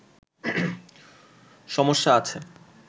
সমস্যা আছে